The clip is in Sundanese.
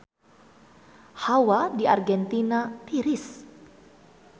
Hawa di Argentina tiris